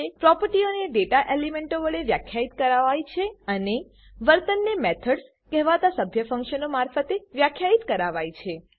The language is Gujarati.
પ્રોપર્ટીઓને ડેટા એલીમેંટો વડે વ્યાખ્યિત કરાવાય છે અને વર્તનને મેથડ્સ મેથડ્સ કહેવાતા સભ્ય ફંકશનો મારફતે વ્યાખ્યિત કરાવાય છે